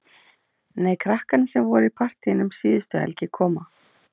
Nei, krakkarnir sem voru í partíinu um síðustu helgi koma.